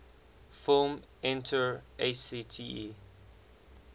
film entr acte